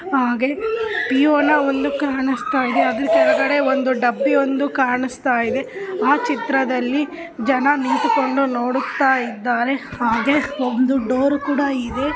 ಹಾಗೆ ಕೆಳಗಡೆ ಒಂದು ಡಬ್ಬಿ ಕಾಣಸ್ತಾಇದೆ.